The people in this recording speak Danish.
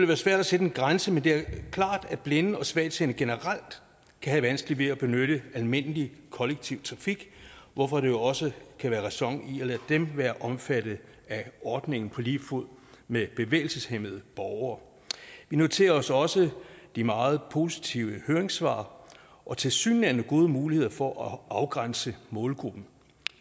være svært at sætte en grænse men det er klart at blinde og svagtseende generelt kan have vanskeligt ved at benytte almindelig kollektiv trafik hvorfor der jo også kan være ræson i at lade dem være omfattet af ordningen på lige fod med bevægelseshæmmede borgere vi noterer os også de meget positive høringssvar og tilsyneladende gode muligheder for at afgrænse målgruppen